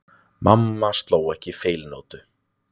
Mamma sló ekki feilnótu.